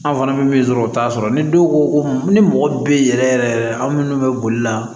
An fana bɛ min sɔrɔ u t'a sɔrɔ ni dɔw ko ko ni mɔgɔ bɛ yen yɛrɛ yɛrɛ anw minnu bɛ boli la